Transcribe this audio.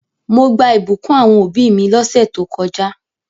Mo gbà ìbùkún àwon òbí mi lósẹ̀ to kojá